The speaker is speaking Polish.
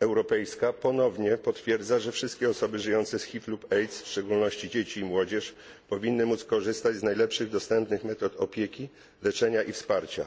Europejska ponownie potwierdza, że wszystkie osoby żyjące z HIV lub AIDS, w szczególności dzieci i młodzież, powinny móc korzystać z najlepszych dostępnych metod opieki, leczenia i wsparcia.